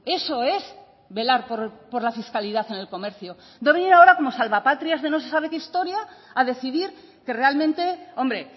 eso es velar por la fiscalidad en el comercio y no venir ahora como salva patrias de no sé sabe qué historia a decidir que realmente hombre